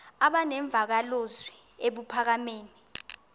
aba nemvakalozwi ebuphakama